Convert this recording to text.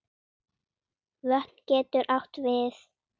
Vötn getur átt við